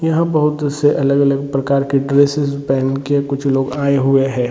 यहाँ बहुत से अलग अलग प्रकार के ड्रेसेस पहन के कुछ लोग आए हुए है।